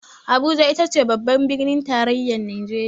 Abuja itace babbar birnin tarayyar najeriya.